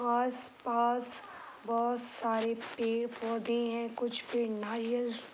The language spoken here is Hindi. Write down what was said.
आस पास बहोत सारे पेड़ पौधे हैं। कुछ पे नारियल्स --